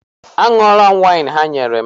A ṅụọla m waịn ha nyere m.